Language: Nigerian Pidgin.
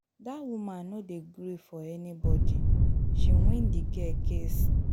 Dat woman no dey gree for anybody, she win the girl case.